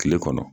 Kile kɔnɔ